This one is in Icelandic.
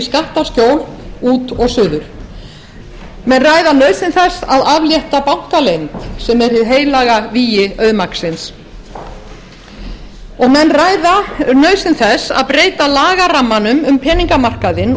skattaskjól út og suður menn ræða nauðsyn þess að aflétta bankaleynd sem er hið heilaga vígi auðmagnsins og menn ræða nauðsyn þess að breyta lagarammanum um peningamarkaðinn